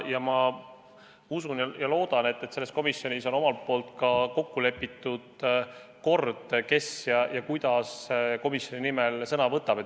Ja ma usun ja loodan, et selles komisjonis on kokku lepitud kord, kes ja kuidas komisjoni nimel sõna võtab.